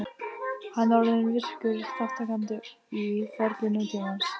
Hann er orðinn virkur þátttakandi í ferli nútímans.